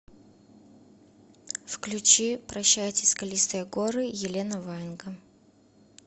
включи прощайте скалистые горы елена ваенга